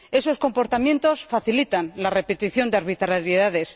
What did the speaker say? Esos comportamientos facilitan la repetición de arbitrariedades.